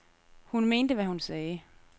Hun mente, hvad hun sagde.